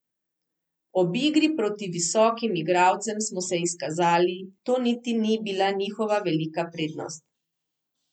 Ob igri proti visokim igralcem smo se izkazali, to niti ni bila njihova velika prednost.